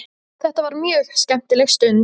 Þetta var mjög skemmtileg stund.